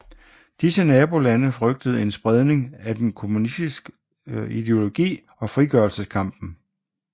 Disse nabolande frygtede en spredning af den kommunistiske ideologi og frigørelseskampen